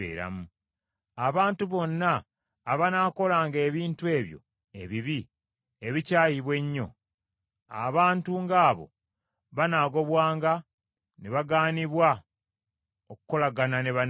“ ‘Abantu bonna abanaakolanga ebintu ebyo ebibi ebikyayibwa ennyo, abantu ng’abo banaagobwanga ne bagaanibwa okukolagana ne bannaabwe.